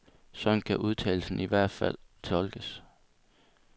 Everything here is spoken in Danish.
Sådan kan udtalelsen i hvert tilfælde tolkes.